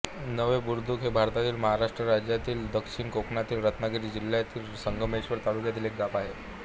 निवे बुद्रुक हे भारतातील महाराष्ट्र राज्यातील दक्षिण कोकणातील रत्नागिरी जिल्ह्यातील संगमेश्वर तालुक्यातील एक गाव आहे